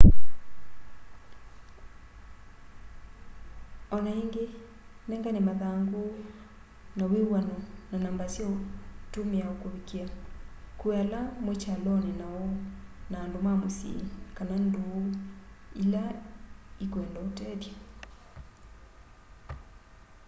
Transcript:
o na ingi nengane mathangu ma wiw'ano na namba sya utumia ukuvikia kwi ala mwi kyaloni nao na andu ma musyi kana nduu ila ikwenda utethya